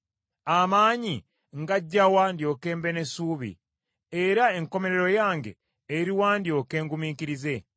Amaanyi ngaggya wa, ndyoke mbe n’essuubi? Era enkomerero yange, eruwa ndyoke ngumiikirize?